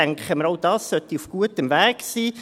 Ich denke, auch das sollte auf gutem Weg sein.